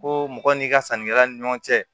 Ko mɔgɔ n'i ka sannikɛla ni ɲɔgɔn cɛ